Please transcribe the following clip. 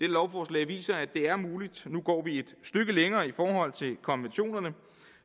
lovforslag viser at det er muligt for nu går vi et stykke længere i forhold til konventionerne